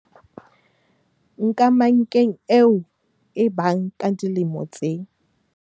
Nkamankeng eo e bang ka dilemo tse